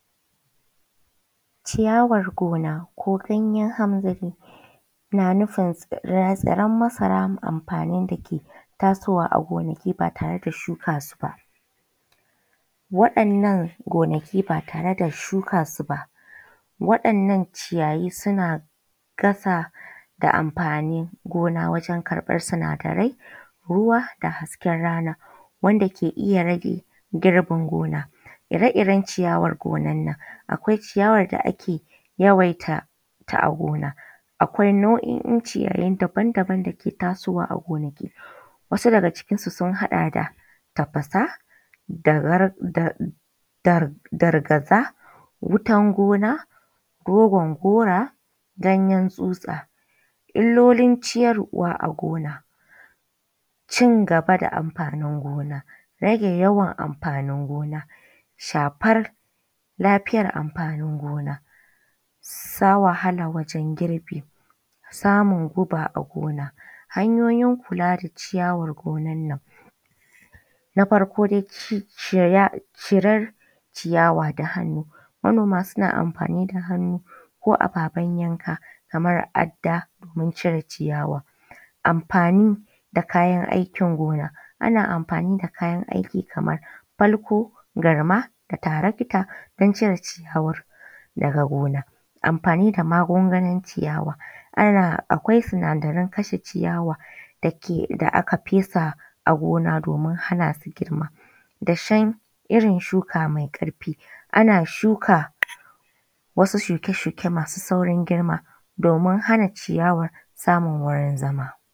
Ciyawar gona ko ganyen hamzari na nufin tsiran masara, amfanin da ke tasowa a gonaki ba tare da shuka su ba. Waɗannan gonaki ba tare da shuka su ba, waɗannan ciyayi suna ƙasa da amfanin gona wajen karɓar sinadarai, ruwa da hasken rana wanda ke iya rage girbin gona. Ire-iren ciyawar gonan nan, akwai ciyawar da ake yawaita ta a gona, akwai nau’o’in ciyayi daban-daban da ke tasowa a gonaki wasu daga cikin su sun haɗa da tafasa, dar dargaza, wutan gona, rogon gora, ganyen tsutsa. Illolin ciyarwa a gona, cin gaba da amfanin gona, rage yawan amfanin gona, shafar lafiyar amfanin gona, sa wahala wajen girbi, samun guba a gona. Hanyoyin kula da ciyawar gonan nan: Na farko dai ciya cirar ciyawa da hannu; manoma suna amfani da hannu ko ababen yanka kamar adda, don cire ciyawa. Amfani da kayan aikin gona; ana amfani da kayan aiki kamar falko, garma, da taratika don cire ciyawar daga gona. Amfani da magunganin ciyawa: A na a kwai sinadaran kashe ciyawa da ke da aka fesa a gona domin hana su girma. Dashen irin shuka mai ƙarfi, ana shuka wasu shuke-shuke masu saurin girma domin hana ciyawar samun.